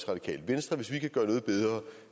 radikale venstre hvis vi kan gøre noget bedre